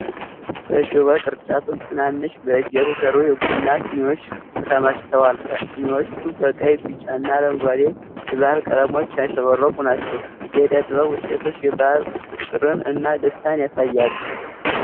በሽቦ ቅርጫት ውስጥ ትናንሽ፣ በእጅ የተሠሩ የቡና ስኒዎች ተከማችተዋል። ስኒዎቹ በቀይ፣ ቢጫና አረንጓዴ የባሕል ቀለሞች ያሸበረቁ ናቸው። የእደ ጥበብ ውጤቶቹ የባህል ፍቅርን እና ደስታን ያሳያሉ።